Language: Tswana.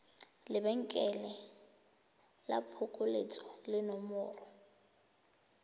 lebenkele la phokoletso le nomoro